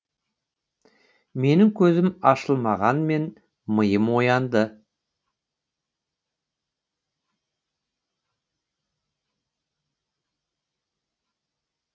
менің көзім ашылмағанмен миым оянды